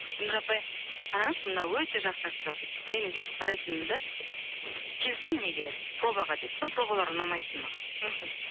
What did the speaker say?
гүлнұр апай қараңызшы мынау өте жақсы актер деп мен бүйтіп қарайтынмын да келсін неге пробаға деп пробалары ұнамайтын маған мхм